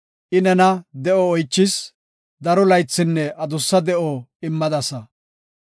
I nena de7o oychis; daro laythinne adussa de7o immadasa.